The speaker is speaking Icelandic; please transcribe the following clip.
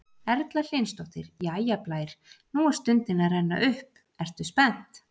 Erla Hlynsdóttir: Jæja Blær, nú er stundin að renna upp, ertu spennt?